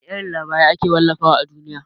Wana irin labarai akafi wallafa wa a duniya?